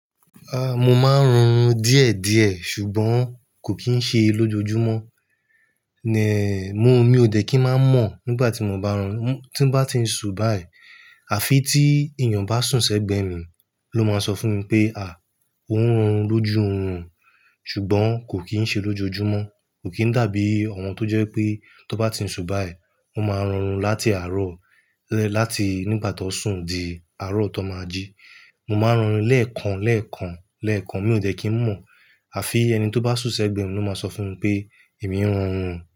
Ah, mo máa ń ronú díẹ̀ díẹ̀ ṣùgbọ́n kò kín ń ṣe é lójoojúmọ́. Nè, mo, mi ò dẹ́ kí ń mọ̀ nígbà tí mo bá ronú. Tí bá ti ń sun báyìí àfi tí ènìyàn bá sùn sẹ́gbẹ̀ẹ́ mi ló máa sọ fún mi pé "à, o ń ronú lójú òórùn ṣùgbọ́n kò kín ń ṣe é lójoojúmọ́". Kò kín dàbí ọ̀wọ́n tó jẹ́ pé tó bá ti ń sun báyìí, mo máa ronú láti àárọ̀, láti nígbà tó sùn di àárọ̀ tó máa jí. Mo máa ń ronú lẹ́ẹ̀kan, lẹ́ẹ̀kan, lẹ́ẹ̀kan. Mi ò jẹ́ kí ń mọ̀ àfi ẹni tó bá sùn sẹ́gbẹ̀ẹ́ mi ló máa sọ fún mi pé "èmi ń ronú".